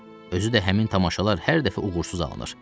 Özü də həmin tamaşalar hər dəfə uğursuz alınır.